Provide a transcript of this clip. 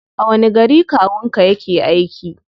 A wani gari kawun ka yake aiki?